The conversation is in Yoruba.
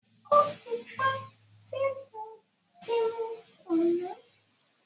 Ó ti pẹ́ tí mo ti mu kùnù